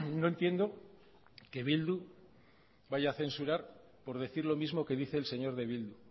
no entiendo que bildu vaya a censurar por decir lo mismo que dice el señor de bildu